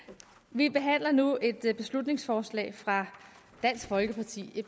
vi behandler nu et beslutningsforslag fra dansk folkeparti